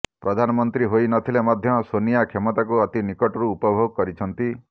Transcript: ପ୍ରଧାନମନ୍ତ୍ରୀ ହୋଇ ନଥିଲେ ମଧ୍ୟ ସୋନିଆ କ୍ଷମତାକୁ ଅତି ନିକଟରୁ ଉପଭୋଗ କରିଛନ୍ତି